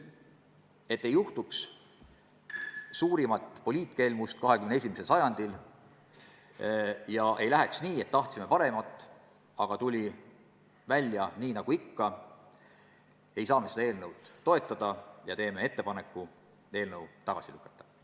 Et ei juhtuks 21. sajandi suurimat poliitkelmust ega läheks nii, et tahtsime paremat, aga välja tuli nagu ikka, ei saa me seda eelnõu toetada ja teeme ettepaneku see tagasi lükata.